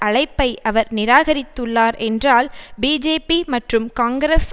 அழைப்பை அவர் நிராகரித்துள்ளார் என்றால் பிஜேபி மற்றும் காங்கிரஸ்